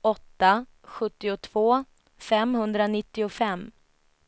åtta sjuttiotvå femhundranittiofem